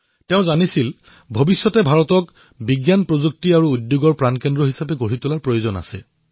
তেওঁ ভালদৰেই জানিছিল যে ভাৰতক বিজ্ঞান প্ৰযুক্তি আৰু উদ্যোগৰ কেন্দ্ৰ হিচাপে গঢ়ি তোলাটো অতিশয় আৱশ্যক